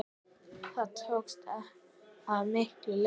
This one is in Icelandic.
Það tókst að miklu leyti.